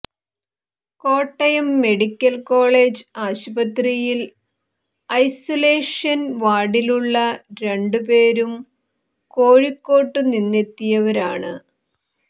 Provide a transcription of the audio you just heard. Kottayam medical college ആശുപത്രിയിൽ isolation വാർഡിലുള്ള രണ്ടു പേരും കോഴിക്കോട്ടുനിന്നെത്തിയവരാണ്